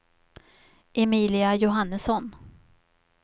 Emilia Johannesson